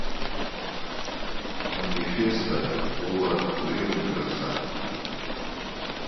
манифесто пола гринграсса